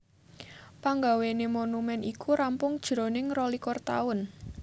Panggawéné monumèn iku rampung jroning rolikur taun